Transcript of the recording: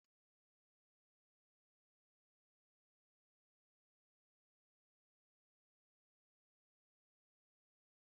N'oge ụra, nne nne m kọrọ akụkọ na-atọ ụtọ banyere otu ọkpara eze na adaeze hụrụ onwe ha n’anya.